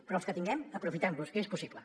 però els que tinguem aprofitem los que és possible